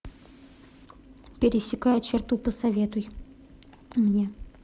пересекая черту посоветуй мне